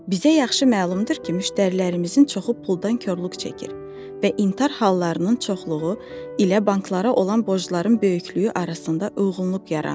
Bizə yaxşı məlumdur ki, müştərilərimizin çoxu puldan korluq çəkir və intihar hallarının çoxluğu ilə banklara olan borcların böyüklüyü arasında uyğunluq yaranır.